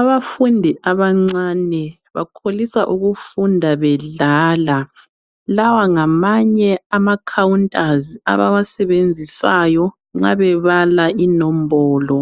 Abafundi abancane bakholisa ukufunda bedlala lawa ngamanye ama khawuntazi abawasebenzisayo nxa bebala inombolo